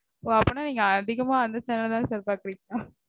ஓ அப்டினா நீங்க அதிகமா அந்த channel தா sir பாக்குறீங்களா?